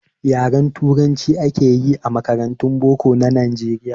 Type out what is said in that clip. Yaren turanci akeyi a makarantun boko na nijeriya